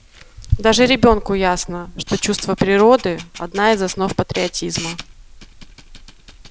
даже ребёнку ясно что чувство природы одна из основ патриотизма